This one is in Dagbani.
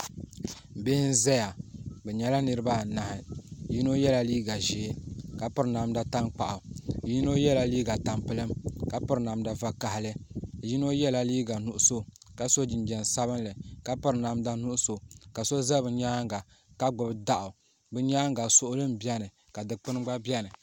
Bihi n zaya bɛ nyɛla niriba anahi yino yela liiga ʒee ka piri namda tankpaɣu yino yela liiga tampilim ka piri namda vakahali yino yela liiga nuɣuso ka so jinjiɛm sabinli ka piri namda nuɣuso ka so za bɛ nyaanga ka gbibi daɣu bɛ nyaanga suɣuli m biɛni ka dikpini gba biɛni.